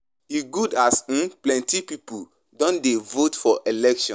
E good as um plenty pipu don dey vote for election.